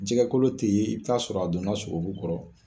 Jɛgɛkolo tɛ yen i bɛ t'a sɔrɔ a donna sogo kɔrɔ